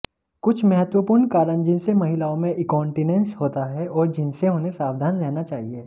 कुछ महत्वपूर्ण कारण जिनसे महिलाओं में इंकॉन्टीनेंस होता है और जिनसे उन्हें सावधान रहना चाहिए